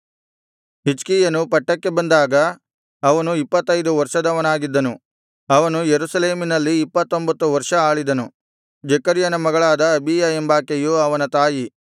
ಹಿಜ್ಕೀಯನು ಪಟ್ಟಕ್ಕೆ ಬಂದಾಗ ಅವನು ಇಪ್ಪತ್ತೈದು ವರ್ಷದವನಾಗಿದ್ದನು ಅವನು ಯೆರೂಸಲೇಮಿನಲ್ಲಿ ಇಪ್ಪತ್ತೊಂಭತ್ತು ವರ್ಷ ಆಳಿದನು ಜೆಕರ್ಯನ ಮಗಳಾದ ಅಬೀಯ ಎಂಬಾಕೆಯು ಅವನ ತಾಯಿ